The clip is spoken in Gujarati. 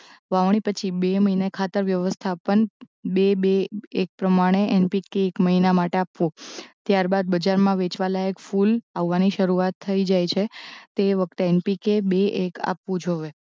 વાવણી પછી બે મહિને ખાતર વ્યવસ્થા પણ બે બે એક પ્રમાણે એનપીકે એક મહિના માટે આપવું ત્યારબાદ બજારમાં વેચવાલાયક ફૂલ આવવાની શરુ